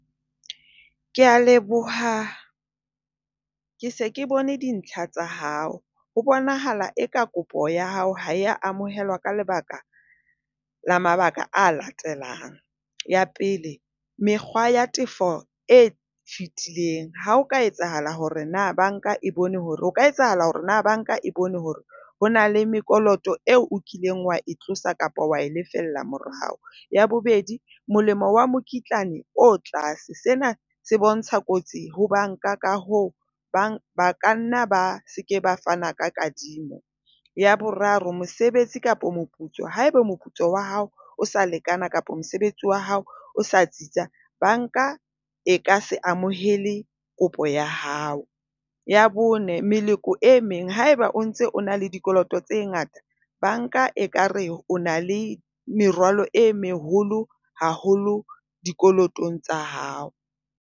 Ke a leboha. Ke se ke bone dintlha tsa hao, ho bonahala e ka kopo ya hao ha e amohelwa ka lebaka la mabaka a latelang. Ya pele, mekgwa ya tefo e fetileng, ha o ka etsahala hore na banka e bone hore o ka etsahala hore na banka e bone hore ho na le mekoloto eo o kileng wa e tlosa kapa wa e lefella morao. Ya bobedi, molemo wa mokitlane o tlase. Sena se bontsha kotsi ho banka ka hoo ba ba kanna ba se ke ba fana ka kadimo. Ya boraro. Mosebetsi kapa moputso. Haeba moputso wa hao o sa lekana kapa mosebetsi wa hao o sa tsitsa, banka e ka se amohele kopo ya hao. Ya bone. Meleko e meng. Haeba o ntse o na le dikoloto tse ngata, banka ekare o na le merwalo e meholo haholo dikolotong tsa hao.